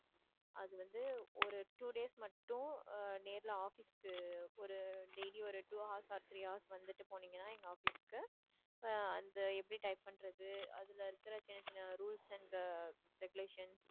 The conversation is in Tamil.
அது வந்து ஒரு two days மட்டும் அஹ் நேர்ல office க்கு ஒரு daily ஒரு two hours or three hours வந்துட்டு போனீங்கன்னா எங்க office க்கு அஹ் அந்த எப்படி type பண்றது அதுல இருக்குற சின்ன சின்ன rules and regulation